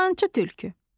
Yalançı tülkü.